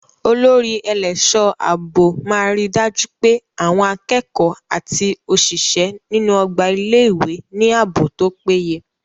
Olórí ẹlẹ́ṣọ̀ ààbò máa ríi dájú pé àwọn akẹ́kọ̀ọ́ àti òṣìṣẹ́ inú ọgbà ilé ìwé ní ààbò tó péye.